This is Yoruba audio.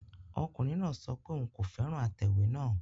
Ọkùnrin náà sọ pé òun kò fẹ́ràn atẹ̀wé náà